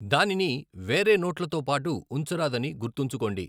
దానిని వేరే నోట్లతోపాటు ఉంచరాదని గుర్తుంచుకోండి.